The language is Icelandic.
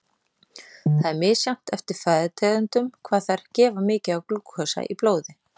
Það er misjafnt eftir fæðutegundum hvað þær gefa mikið af glúkósa í blóði.